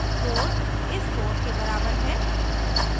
4 इस 4 के बराबर है